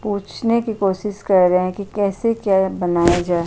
पूछने की कोशिश कर रहे कि कैसे क्या बनाया जा ।